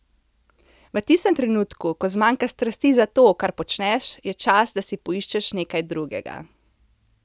V tistem trenutku, ko zmanjka strasti za to, kar počneš, je čas, da si poiščeš nekaj drugega.